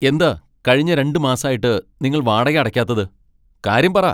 എന്താ കഴിഞ്ഞ രണ്ട് മാസായിട്ട് നിങ്ങൾ വാടക അടയ്ക്കാത്തത്? കാര്യം പറ.